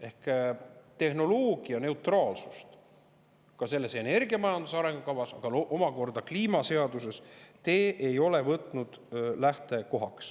Ehk siis tehnoloogianeutraalsust te ei ole energiamajanduse arengukavas ega ka kliimaseaduses lähtekohaks võtnud.